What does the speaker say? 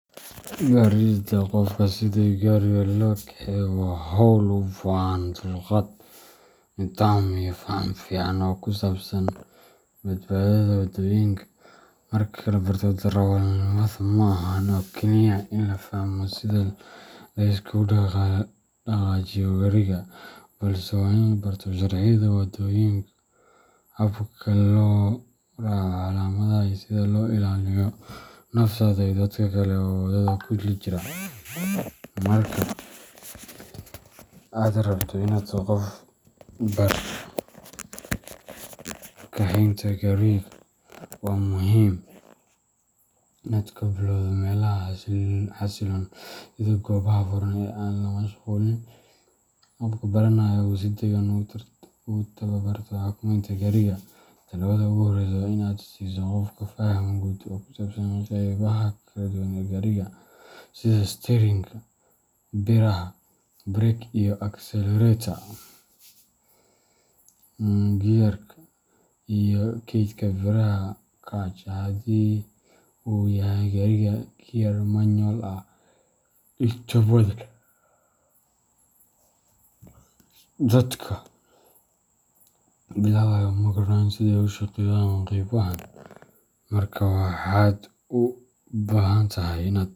Baridda qofka sida gaariga loo kaxeeyo waa hawl u baahan dulqaad, nidaam, iyo faham fiican oo ku saabsan badbaadada waddooyinka. Marka la barto darawalnimada, ma ahan oo keliya in la fahmo sida la iskugu dhaqaajiyo gaariga, balse waa in la barto sharciyada waddooyinka, habka loo raaco calaamadaha, iyo sida loo ilaaliyo naftaada iyo dadka kale ee waddada kula jira. Marka aad rabto in aad qof barato kaxeynta gaariga, waa muhiim inaad ka bilowdo meelaha xasilloon sida goobaha furan ee aan la mashquulin, si qofka baranaya uu si deggan ugu tababarto xakameynta gaariga. Tallaabada ugu horreysa waa in aad siiso qofka faham guud oo ku saabsan qeybaha kala duwan ee gaariga sida isteerinka, biraha brake and accelerator, gearka, iyo keydka biraha clutch haddii uu yahay gaariga gear manual ah. Inta badan dadka bilaabaya ma garanayaan sida ay u shaqeeyaan qeybahan, markaa waxaad u baahantahay inaad .